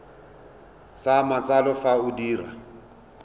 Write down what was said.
sa matsalo fa o dira